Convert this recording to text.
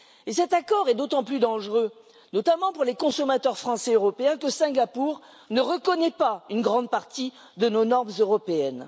Et cet accord est d'autant plus dangereux, notamment pour les consommateurs français et européens, que Singapour ne reconnaît pas une grande partie de nos normes européennes.